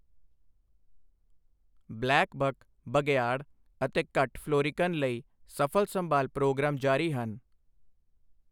Black buck, ਬਘਿਆੜ ਅਤੇ ਘੱਟ ਫਲੋਰਿਕਨ ਲਈ ਸਫ਼ਲ ਸੰਭਾਲ ਪ੍ਰੋਗਰਾਮ ਜਾਰੀ ਹਨ।